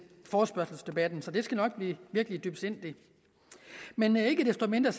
forespørgselsdebatten så det skal nok blive virkelig dybsindigt men ikke desto mindre